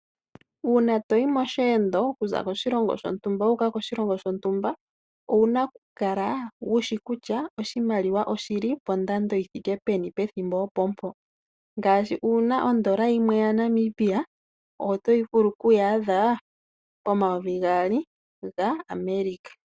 Uuna to yi mosheendo, to yi koshilongo shontumba wu uka koshilongo shontumba, owuna okukala wu shi kutya oshimaliwa oshi li pondando yi thike peni, pethimbo opo mpo. Ngaashi uuna ondola yinwe yaNamibia oto yi vulu okuyaadha omayovi gaali gaAmerika.